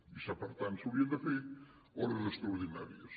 i per tant s’havien de fer hores extraordinàries